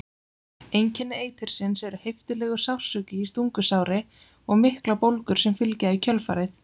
Einkenni eitursins eru heiftarlegur sársauki í stungusári og miklar bólgur sem fylgja í kjölfarið.